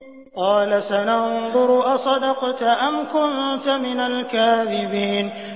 ۞ قَالَ سَنَنظُرُ أَصَدَقْتَ أَمْ كُنتَ مِنَ الْكَاذِبِينَ